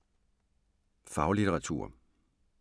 Faglitteratur